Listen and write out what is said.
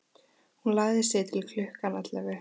Hún lagði sig til klukkan ellefu.